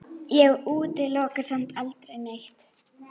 Ég útiloka samt aldrei neitt.